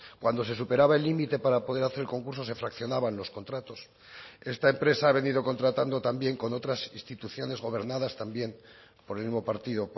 cuando se superaba el límite para poder hacer concurso se fraccionaban los contratos esta empresa ha venido contratando también con otras instituciones gobernadas también por el mismo partido